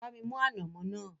Bá mi mú ànàmọ́ náà